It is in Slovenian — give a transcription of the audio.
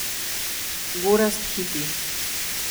Gorazd Hiti.